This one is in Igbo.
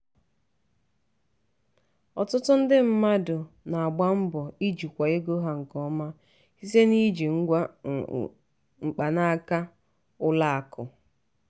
ọtụtụ ndị mmadụ ndị mmadụ na-agba mbọ ijikwa ego ha nke ọma site n'iji ngwa mkpanaka ụlọ akụ.